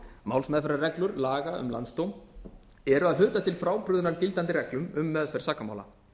málsmeðferðarreglur laga um landsdóm eru að hluta til frábrugðnar gildandi reglum um meðferð sakamála